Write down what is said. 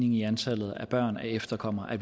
i antallet af børn af efterkommere